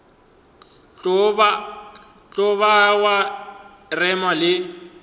tlo ba wa rema le